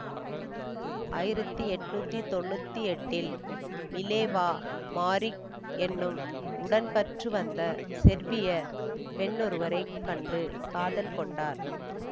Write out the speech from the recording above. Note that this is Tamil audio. ஆயிரத்தி எண்ணூற்றி தொன்னூற்தி எட்டீல் மிலேவா மாரிக் என்னும் உடன்கற்றுவந்த செர்பிய பெண்ணொருவரைக் கண்டு காதல் கொண்டார்